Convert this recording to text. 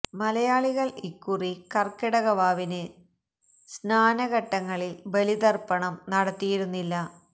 മലയാളികൾ ഇക്കുറി കർക്കിടക വാവിന് സ്നാന ഘട്ടങ്ങളിൽ ബലി തർപ്പണം നടത്തിയിരുന്നില്ല